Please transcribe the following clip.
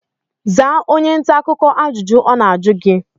Zaa onye ntaakụkọ ajụjụ ọ na-ajụ gi!